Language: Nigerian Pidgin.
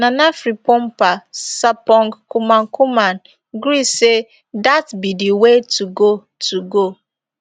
nana frimpomaa sarpong kumankumah gree say dat be di way to go to go